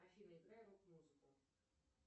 афина играй рок музыку